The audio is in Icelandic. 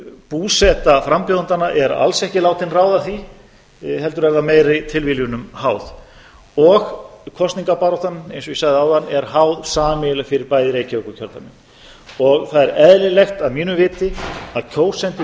búseta frambjóðendanna er alls ekki látin ráða því heldur er það meiri tilviljunum háð og kosningabaráttan eins og ég sagði áðan er háð sameiginlega fyrir bæði reykjavíkurkjördæmin og það er eðlilegt að mínu viti að kjósendur